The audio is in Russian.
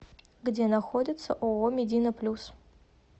где находится ооо медина плюс